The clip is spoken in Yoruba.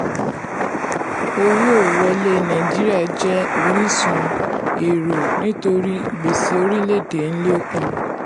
owó wọlé nàìjíríà jẹ́ orísun èrò nítorí gbèsè orílẹ̀-èdè ń lékún.